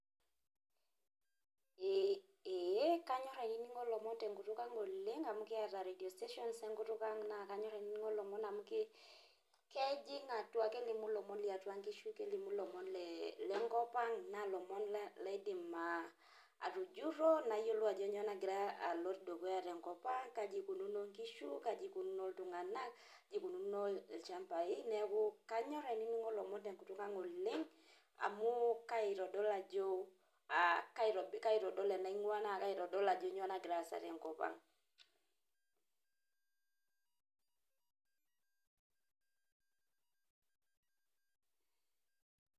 Ee. Kanyor ainining'o ilomon tenkutuk ang' oleng' amu kiata radio stations enkutuk ang'. Na kanyor ainining'o ilomon amu kejing' atua. Kelimu ilomon liatua nkishu, kelimu lomon lenkop ang',na lomon laidim ah atujurro nayiolou ajo kanyioo nagira alo dukuya tenkop ang'. Kaji ikununo nkishu, kaji ikununo iltung'anak, kaji ikunono ilchambai. Neeku, kanyor ainining'o ilomon tenkutuk ang' oleng' amu kaitodol ajo, ah kaitodol enaing'ua, naitodol ajo nyoo nagira aasa tenkop ang'.